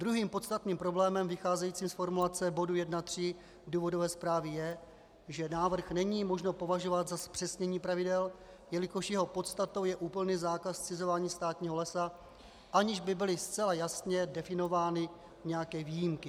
Druhým podstatným problémem vycházejícím z formulace bodu 1.3 důvodové zprávy je, že návrh není možno považovat za zpřesnění pravidel, jelikož jeho podstatou je úplný zákaz zcizování státního lesa, aniž by byly zcela jasně definovány nějaké výjimky.